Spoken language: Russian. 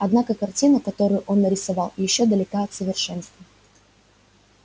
однако картина которую он нарисовал ещё далека от совершенства